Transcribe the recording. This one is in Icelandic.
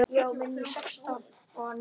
Elsku amma Fríða.